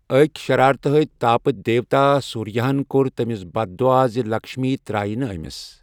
أکۍ شراتہٕ ہوٚتۍ تاپہٕ دیوتا سوریا ہَن کوٚر تٔمِس بددُعا زِ لکشمی ترایہِ نہٕ ٲمِس